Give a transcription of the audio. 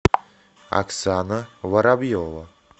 оксана воробьева